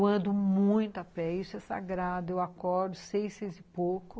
Eu ando muito a pé, isso é sagrado, eu acordo seis, seis e pouco,